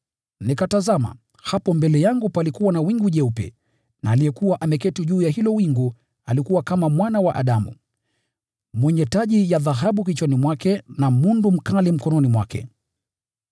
Nikatazama, hapo mbele yangu palikuwa na wingu jeupe, na aliyekuwa ameketi juu ya hilo wingu alikuwa “kama Mwana wa Adamu” mwenye taji ya dhahabu kichwani mwake na mundu mkali mkononi mwake.